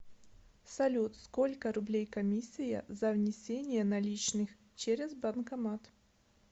салют сколько рублей комиссия за внисение наличных через банкомат